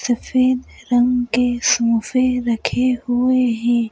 सफेद रंग के सोंफे रखे हुए हैं।